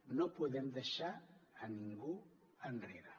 no podem deixar a ningú enrere